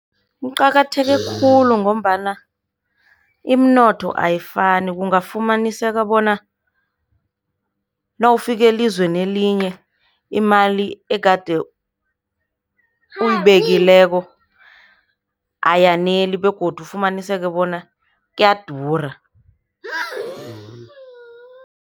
Kuqakatheke khulu ngombana iminotho ayifani, kungafumaniseka bona nawufika elizweni elinye imali egade uyibekileko ayaneli begodu ufumaniseka bona kuyadura.